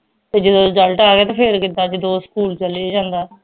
ਤੇ ਜਿਦੋਂ result ਆ ਗਿਆ ਤਾਂ ਫੇਰ ਕਿੱਦਾਂ ਜਦੋਂ ਸਕੂਲ ਚਲੇ ਜਾਂਦਾ